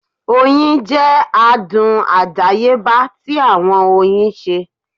Oyin jẹ adun adayeba ti awọn oyin ṣe